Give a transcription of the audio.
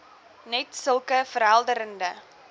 net sulke verhelderende